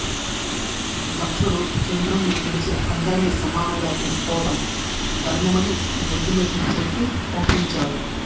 దక్షుడు చంద్రుడిని పిలిచి అందరినీ సమానంగా చూసుకోవడం ధర్మమని బుద్ధిమతి చెప్పి పంపించాడు